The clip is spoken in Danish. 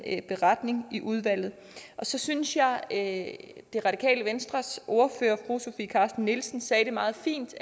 en beretning i udvalget og så synes jeg at det radikale venstres ordfører fru sofie carsten nielsen sagde det meget fint i